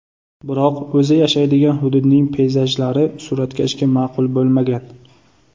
Biroq o‘zi yashaydigan hududning peyzajlari suratkashga ma’qul bo‘lmagan.